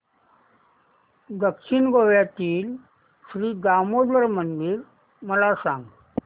दक्षिण गोव्यातील श्री दामोदर मंदिर मला सांग